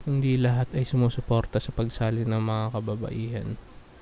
hindi lahat ay sumusuporta sa pagsali ng mga kababaihan